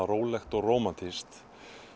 rólegt og rómantískt